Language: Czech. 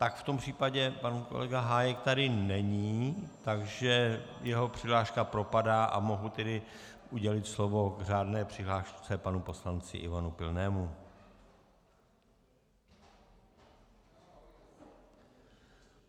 Tak v tom případě pan kolega Hájek tady není, takže jeho přihláška propadá, a mohu tedy udělit slovo k řádné přihlášce panu poslanci Ivanu Pilnému.